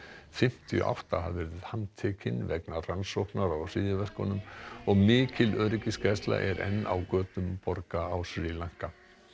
fimmtíu og átta hafa verið handteknir vegna rannsóknar á hryðjuverkunum og mikil öryggisgæsla er enn á götum borga á Sri Lanka